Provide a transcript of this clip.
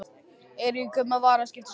Eiríkur kaupmaður var að skipta um skrá.